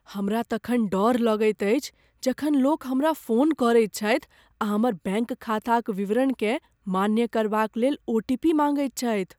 हमरा तखन डर लगैत अछि जखन लोक हमरा फोन करैत छथि आ हमर बैंक खाताक विवरणकेँ मान्य करबाक लेल ओ. टी. पी. माँगैत छथि।